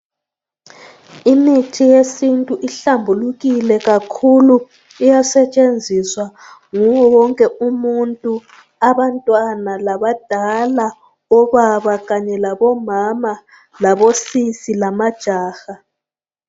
Imithi yesintu ihlambulukile kakhulu iyasetshenziswa nguwo wonke umuntu abantwana, labadala ,obaba kanye labomama, labosisi lamajaha.